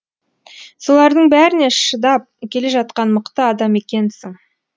солардың бәріне шыдап келе жатқан мықты адам екенсің